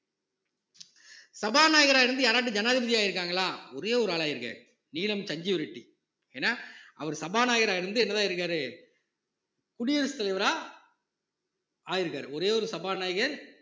சபாநாயகரா இருந்து யாராவது ஜனாதிபதி ஆயிருக்காங்களா ஒரே ஒரு ஆளாயிருக்காரு நீலம் சஞ்சீவ் ரெட்டி ஏன்னா அவர் சபாநாயகரா இருந்து என்னதான் ஆயிருக்காரு குடியரசுத் தலைவரா ஆயிருக்காரு ஒரே ஒரு சபாநாயகர்